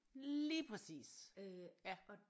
Lige præcis ja